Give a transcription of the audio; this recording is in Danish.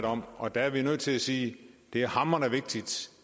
om og der er vi nødt til at sige det er hamrende vigtigt